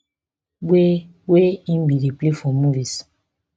wey wey im bin dey play for movies